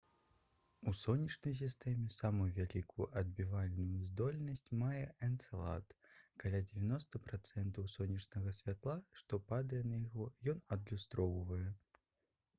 у сонечнай сістэме самую вялікую адбівальную здольнасць мае энцэлад каля 90 працэнтаў сонечнага святла што падае на яго ён адлюстроўвае